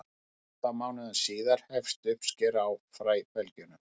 átta mánuðum síðar hefst uppskera á fræbelgjunum